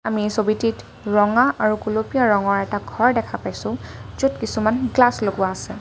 আমি ছবিটিত ৰঙা আৰু গোলপীয়া ৰঙৰ এটা ঘৰ দেখা পাইছোঁ য'ত কিছুমান গ্লাচ লগোৱা আছে।